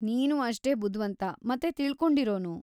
ನೀನೂ ಅಷ್ಟೇ ಬುದ್ವಂತ ಮತ್ತೆ ತಿಳ್ಕೊಂಡಿರೋನು.